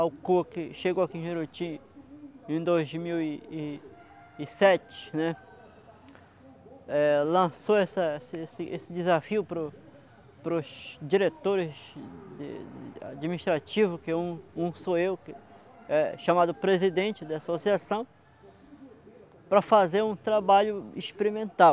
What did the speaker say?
que chegou aqui em Juruti em dois mil e, e, e sete, né, é lançou esse desafio, para para os diretores administrativos, que um, um sou eu, é chamado presidente da associação, para fazer um trabalho experimental.